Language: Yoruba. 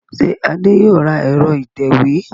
Ṣé Adé yóò ra ẹ̀rọ ìtẹ̀wé